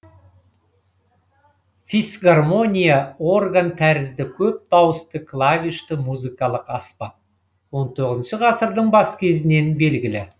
фисгармония орган тәрізді көп дауысты клавишті музыкалық аспап он тоғызыншы ғасырдың бас кезінен белгілі